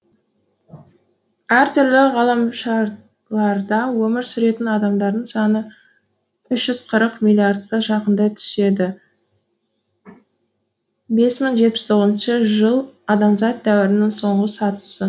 әртүрлі ғаламшарларда өмір сүретін адамдардың саны үш жүз қырық миллиардқа жақындай түседі бес мың жетпіс тоғызыншы жыл адамзат дәуірінің соңғы сатысы